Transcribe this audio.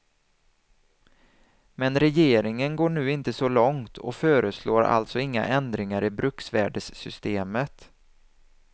Men regeringen går nu inte så långt och föreslår alltså inga ändringar i bruksvärdessystemet.